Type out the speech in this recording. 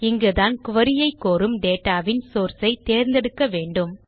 இங்குதான் குரி ஐ கோரும் டேட்டா வின் சோர்ஸ் ஐ தேர்ந்தெடுக்க வேண்டும்